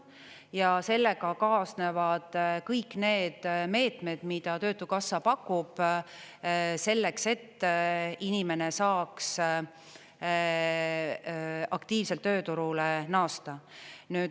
Ja sellega kaasnevad kõik need meetmed, mida töötukassa pakub selleks, et inimene saaks aktiivselt tööturule naasta.